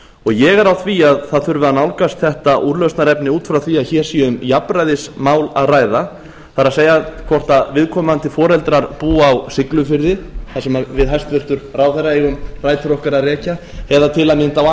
ég er á því að það þurfi að nálgast þetta úrlausnarefni út frá því að hér sé um jafnræðismál að ræða það er hvort viðkomandi foreldrar búa á siglufirði þar sem við hæstvirtan ráðherra eigum rætur okkar að rekja eða til að mynda á